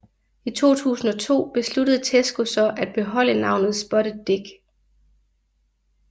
I 2002 besluttede Tesco så at beholde navnet Spotted Dick